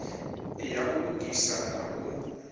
ya u lugisa na u